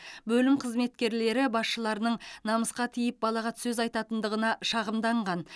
бөлім қызметкерлері басшыларының намысқа тиіп балағат сөз айтатындығына шағымданған